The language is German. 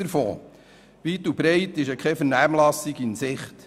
Weit und breit ist keine Vernehmlassung in Sicht.